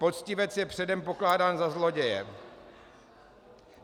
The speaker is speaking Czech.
Poctivec je předem pokládán za zloděje.